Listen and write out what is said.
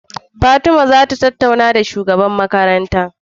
Fatima zata samu tattaunawa da shugaban makaranta